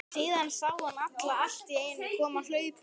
Síðan sá hann hana alltíeinu koma hlaupandi.